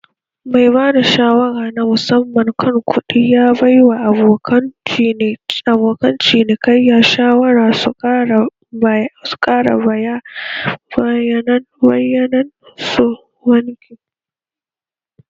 Mai bada shawara na musamman kan kuɗi ya baiwa abokan cinikayya shawara su ƙara bayanan su na banki.